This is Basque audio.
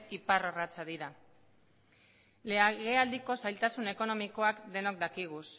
ipar orratza dira legealdiko zailtasun ekonomikoak denok dakizkigu